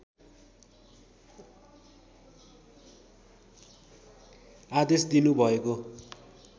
आदेश दिनु भएको